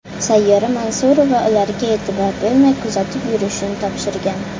Sayyora Mansurova ularga e’tibor bermay kuzatib yurishini topshirgan.